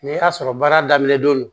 N'i y'a sɔrɔ baara daminɛ don